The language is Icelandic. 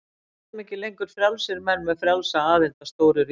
Við verðum ekki lengur frjálsir menn með frjálsa aðild að stóru ríki.